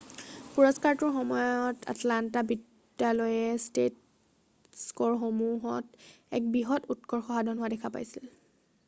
পুৰস্কাৰটোৰ সময়ত আটলান্টা বিদ্যালয়ে টেষ্ট স্ক'ৰসমূহত এক বৃহৎ উৎকৰ্ষ সাধন হোৱা দেখা পাইছিল৷